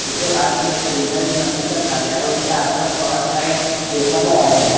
उसके पास में एक प्रिंटर मशीन रखा गया है उसके आसपास बहोत सारे पेपर लगाए गए हैं।